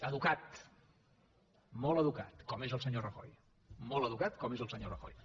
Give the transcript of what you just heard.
educat molt educat com és el senyor rajoy molt educat com és el senyor rajoy